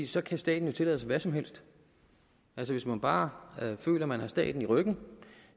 så kan staten jo tillade sig hvad som helst altså hvis man bare føler man har staten i ryggen